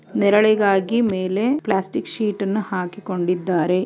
ನೆರಳಿಗಾಗಿ ಮೇಲೆ ಪ್ಲಾಸ್ಟಿಕ್ ಶೀಟನ್ನ ಹಾಕ--